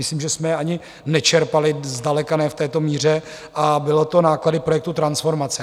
Myslím, že jsme ani nečerpali - zdaleka ne v této míře, a byly to náklady projektu transformace.